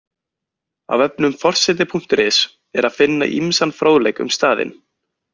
Á vefnum forseti.is er að finna ýmsan fróðleik um staðinn.